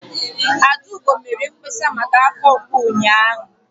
Adaugo mere mkpesa maka afọ mgbu ụnyaahụ.